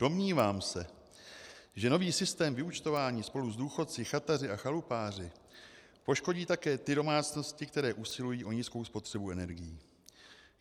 Domnívám se, že nový systém vyúčtování spolu s důchodci, chataři a chalupáři poškodí také ty domácnosti, které usilují o nízkou spotřebu energií.